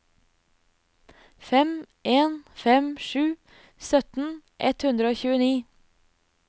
fem en fem sju sytten ett hundre og tjueni